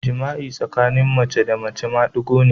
Jima'i tsakanin mace da mace shi ne madigo